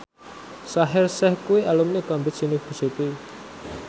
Shaheer Sheikh kuwi alumni Cambridge University